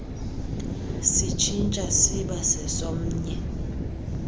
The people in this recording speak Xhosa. sitshintsha siba sesomnye